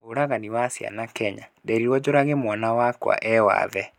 Ũragani wa ciana Kenya: Nderirwo njũrage mwana wakwa we wathe.